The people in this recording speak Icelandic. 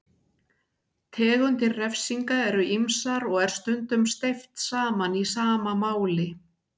Tegundir refsinga eru ýmsar og er stundum steypt saman í sama máli.